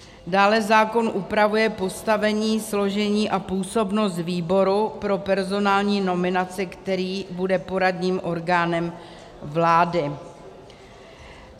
Dále zákon upravuje postavení, složení a působnost výboru pro personální nominaci, který bude poradním orgánem vlády.